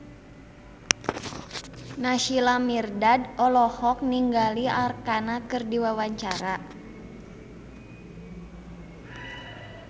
Naysila Mirdad olohok ningali Arkarna keur diwawancara